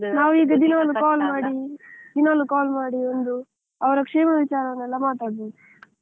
ನಾವು ಈಗ ದಿನ call ಮಾಡಿ, ಒಂದು ದಿನಾಲೂ call ಮಾಡಿ ಒಂದು ಅವರ ಕ್ಷೇಮ ವಿಚಾರ ಎಲ್ಲ ಮಾತಾಡ್ಬೋದು.